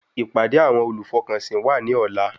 Ìpàdé àwọn olùfọkànsìn wà ní ọ̀la